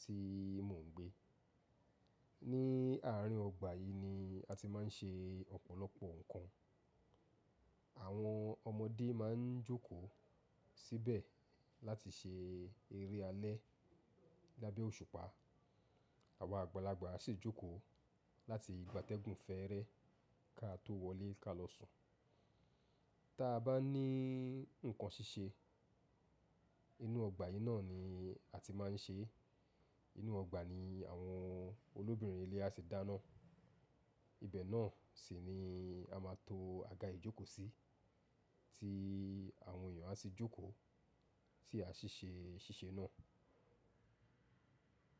tí mò ń gbé. Ní àárín ọgbà yìí ni a ti máa ń ṣe ọ̀pọ̀lọpọ̀ nǹkan. Àwọn ọmọdé máa ń jókòó síbẹ̀ láti ṣe eré alẹ́ lábẹ́ òṣùpá. Àwọn àgbàlagbà sì jókòó láti gba tẹ́gùn fẹ́ẹ́rẹ́ ká tó wọlé ká lọ sùn. Tí a bá ní nǹkan ṣíṣe, inú ọgbà yìí náà ni a ti máa ń ṣe é. Inú ọgbà ni àwọn olóbìnrin ilé a ti dáná. Ibẹ̀ náà sì ni a máa to àga ìjókòó sí, tí àwọn èèyàn á sì jókòó tí a ṣì ṣe ṣíṣe náà.